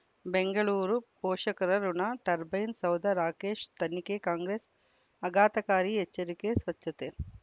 ಬೆಂಗಳೂರು ಪೋಷಕರಋಣ ಟರ್ಬೈನು ಸೌಧ ರಾಕೇಶ್ ತನಿಖೆಗೆ ಕಾಂಗ್ರೆಸ್ ಆಘಾತಕಾರಿ ಎಚ್ಚರಿಕೆ ಸ್ವಚ್ಛತೆ